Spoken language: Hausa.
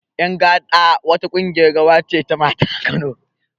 Ƴan gaɗa wa ta ƙungiyar rawa ce ta mata a Kano